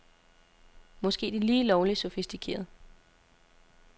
Måske er det lige lovligt sofistikeret.